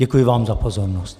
Děkuji vám za pozornost.